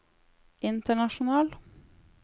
international